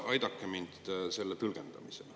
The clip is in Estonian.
Aidake mind selle tõlgendamisel.